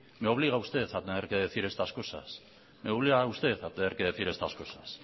me obliga usted a tener que decir estas cosas